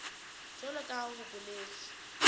jwalo ka ha ho boletswe